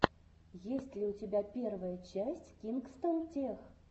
есть ли у тебя первая часть кингстон тех